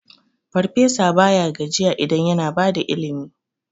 Farfesa baya gajiya idan yana bada ilimi.